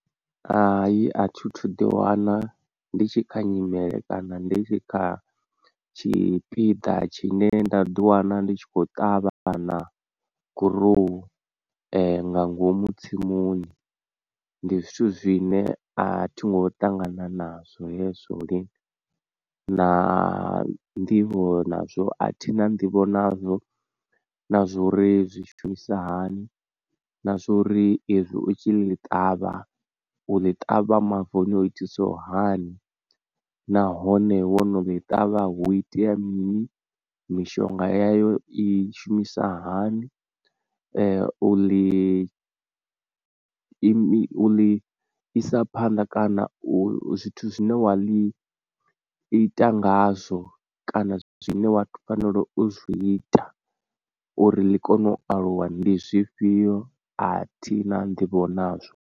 Hai a thi thu ḓi wana ndi tshi kha nyimele kana ndi tshi kha tshipiḓa tshine nda ḓi wana ndi tshi khou ṱavha na gurowu nga ngomu tsimuni ndi zwithu zwine a thi ngo ṱangana nazwo hezwo lini, na nḓivho nazwo a thi na nḓivho nazwo na zwa uri zwi shumisa hani, na zwa uri ezwi u tshi ḽi ṱavha u ḽi ṱavha mavuni o itisaho hani, nahone wono ḽi ṱavha hu itea mini, mishonga heyo i shumisa hani, u ḽi i isa phanḓa kana zwithu zwine wa ḽi ita ngazwo kana zwine wato fanela u zwi ita uri ḽi kone u aluwa ndi zwifhio a thi na nḓivho nazwo.